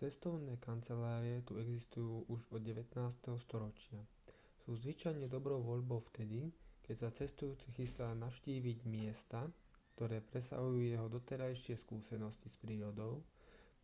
cestovné kancelárie tu existujú už od 19. storočia sú zvyčajne dobrou voľbou vtedy keď sa cestujúci chystá navštíviť miesta ktoré presahujú jeho doterajšie skúsenosti s prírodou